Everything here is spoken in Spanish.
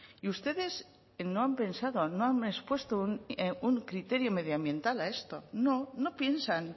y ustedes no han pensado no han expuesto un criterio medioambiental a esto no no piensan